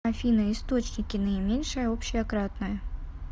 афина источники наименьшее общее кратное